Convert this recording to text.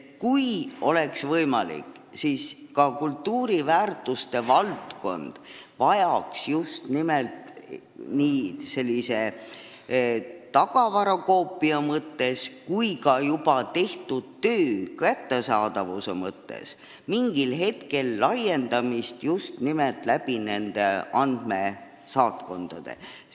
Kui oleks võimalik, siis ka kultuuriväärtuste valdkond vajaks nii tagavarakoopiate mõttes kui ka juba tehtud töö kättesaadavuse mõttes mingil hetkel laiendamist just nimelt nende andmesaatkondade kaudu.